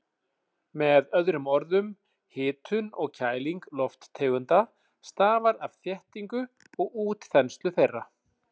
Með öðrum orðum, hitun og kæling lofttegunda stafar af þéttingu og útþenslu þeirra.